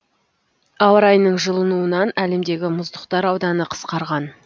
ауа райының жылынуынан әлемдегі мұздықтар ауданы қысқарған